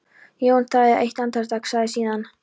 Jón þagði eitt andartak, sagði síðan